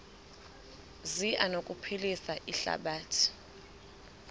zi anokuphilisa ihlabathi